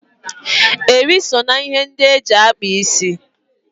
Eri so na ihe ndị eji akpa isi.